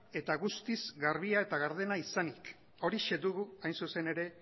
eta guztiz garbia eta gardena izanik horixe dugu hain zuzen ere